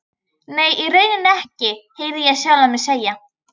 Nei, í rauninni ekki, heyrði ég sjálfan mig segja.